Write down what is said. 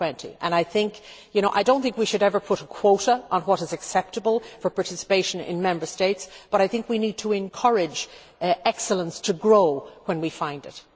2020. I do not think we should ever put a quota on what is acceptable for participation in Member States, but I think we need to encourage excellence to grow when we find it.